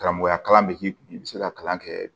Karamɔgɔya kalan bɛ k'i kun i bɛ se ka kalan kɛ